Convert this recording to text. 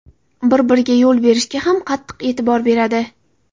Bir-biriga yo‘l berishga ham qattiq e’tibor beradi.